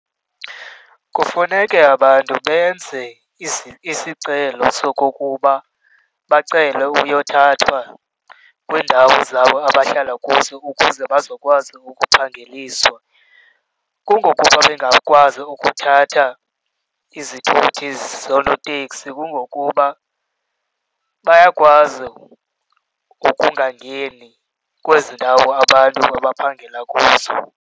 Kufuneke abantu benze isicelo sokokuba bacele ukuyothathwa kwiindawo zabo abahlala kuzo ukuze bazokwazi ukuphangeliswa. Kungokuba, bengakwazi ukuthatha izithuthi zoonotekisi kungokuba bayakwazi ukungangeni kwezi ndawo abantu abaphangela kuzo.